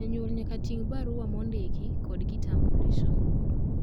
janyuol nyaka ting barua mondiki kod kitambulisho